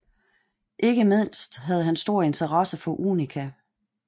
Ikke mindst havde han stor interesse for unika